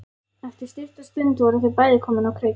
Eftir stutta stund voru þau bæði komin á kreik.